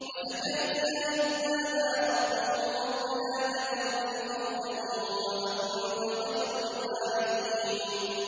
وَزَكَرِيَّا إِذْ نَادَىٰ رَبَّهُ رَبِّ لَا تَذَرْنِي فَرْدًا وَأَنتَ خَيْرُ الْوَارِثِينَ